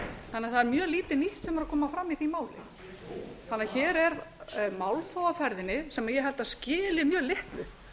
er mjög lítið nýtt sem er að koma fram í því máli þannig að hér er málþóf á ferðinni sem ég held að skili mjög litlu